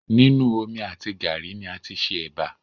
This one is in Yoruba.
Nínu omi àti gàárì ni a tí ṣe ẹbà